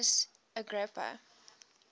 marcus vipsanius agrippa